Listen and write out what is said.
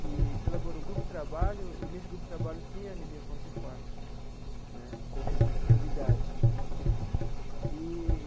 que se elaborou um grupo de trabalho, e nesse grupo de trabalho tinha a anemia falciforme né como prioridade eee.